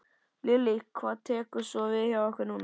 Lillý: Hvað tekur svo við hjá ykkur núna?